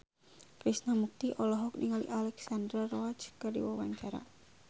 Krishna Mukti olohok ningali Alexandra Roach keur diwawancara